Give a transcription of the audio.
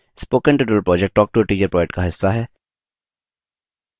spoken tutorial project talktoateacher project का हिस्सा है